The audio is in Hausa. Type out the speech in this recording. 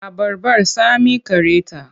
Abarbar tsami care ta.